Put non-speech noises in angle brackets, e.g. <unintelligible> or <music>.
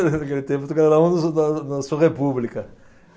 <laughs> Naquele tempo, tu <unintelligible> na na sua república.